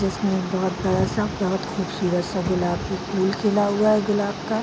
जिस में बहुत सारा सा बहुत खूबसूरत सा गुलाब की फूल खिला हुआ है गुलाब का।